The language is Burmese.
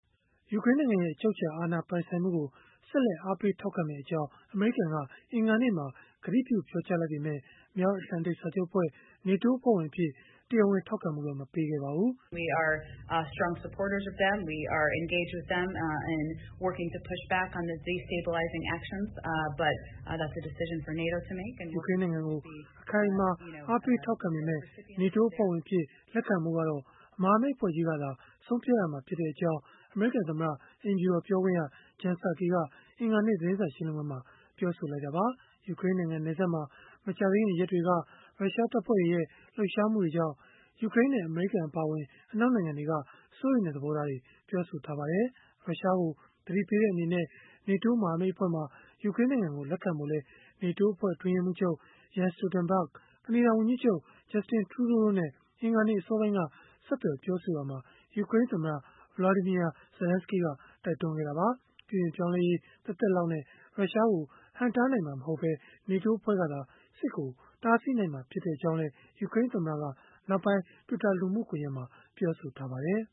ယူကရိန်းနိုင်ငံရဲ့ အချုပ်အခြာ အာဏာပိုင်ဆိုင်မှုကို ဆက်လက် အားပေးထောက်ခံမယ့်အကြောင်း အမေရိကန်က အင်္ဂါနေ့မှာ ကတိပြုပြောကြားလိုက်ပေမဲ့ မြောက်အတ္တလန်တိတ် စာချုပ်အဖွဲ့ (NATO) အဖွဲ့ဝင်အဖြစ် တရားဝင် ထောက်ခံမှုတော့ မပေးခဲ့ပါဘူး။ ယူကရိန်းနိုင်ငံကို အခိုင်အမာ အားပေးထောက်ခံပေမဲ့ NATO အဖွဲ့ဝင်အဖြစ် လက်ခံဖို့ကတော့ မဟာမိတ်အဖွဲ့ကြီးကသာ ဆုံးဖြတ်ရမှာဖြစ်ကြောင်း အမေရိကန်သမ္မတ အိမ်ဖြူတော် ပြောခွင့်ရ Jen Psaki က အင်္ဂါနေ့ သတင်းစာ ရှင်းလင်းပွဲမှာ ပြောလိုက်တာပါ။ ယူကရိန်းနိုင်ငံ နယ်စပ်မှာ မကြာသေးခင်ရက်တွေက ရုရှားတပ်ဖွဲ့တွေရဲ့ လှုပ်ရှားမှုတွေကြောင့် ယူကရိန်းနဲ့ အမေရိကန် အပါအဝင် အနောက်နိုင်ငံတွေက စိုးရိမ်တဲ့ သဘောထားတွေ ပြောဆိုထားကြပါတယ်။ ရုရှားကို သတိပေးတဲ့ အနေနဲ့ NATO မဟာမိတ်အဖွဲ့မှာ ယူကရိန်းနိုင်ငံကို လက်ခံဖို့လည်း NATO အဖွဲ့ အတွင်းရေးမှူးချုပ် Jens Stoltenberg ၊ ကနေဒါဝန်ကြီးချုပ် Justin Trudeau တို့နဲ့ အင်္ဂါနေ့ အစောပိုင်းက ဆက်သွယ်ပြောဆိုရာမှာ ယူကရိန်းသမ္မတ Volodymyr Zelenskiy ကတိုက်တွန်းခဲ့တာပါ။ ပြုပြင်ပြောင်းလဲရေး သက်သက်လောက်နဲ့ ရုရှားကို ဟန့်တားနိုင်မှာ မဟုတ်ဘဲ NATO ကသာ စစ်ကိုတားနိုင်မှာ ဖြစ်ကြောင်းလည်း ယူကရိန်းသမ္မတက နောက်ပိုင်း Twitter လူမှုကွန်ရက်မှာ ပြောဆိုခဲ့ပါတယ်